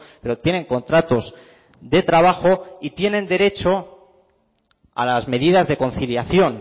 pero tienen contratos de trabajo y tienen derecho a las medidas de conciliación